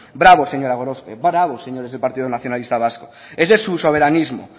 bravo señora gorospe bravo señores del partido nacionalista vasco ese es su soberanismo